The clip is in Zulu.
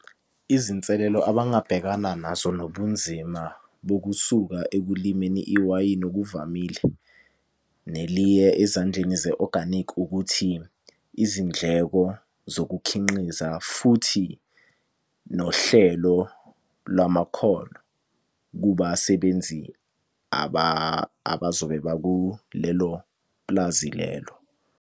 Izinselelo abangabhekana nazo nobunzima bokusuka ekulimeni iwayini okuvamile neliye ezandleni ze-organic, ukuthi izindleko zokukhinqiza futhi nohlelo lwamakhono kubasebenzi abazobe bakulelo pulazi lelo.